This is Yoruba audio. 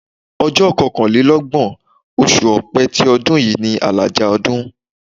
Ọjọ́ kọkànlélọ́gbọ̀n, oṣù Ọ̀pẹ ti ọdún yìí ni àlàjá ọdún.